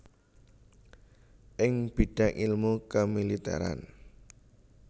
ing bidang ilmu kemiliteran